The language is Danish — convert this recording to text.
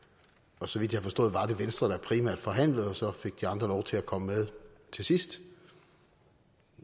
og så vidt jeg har forstået var det venstre der primært forhandlede og så fik de andre lov til at komme med til sidst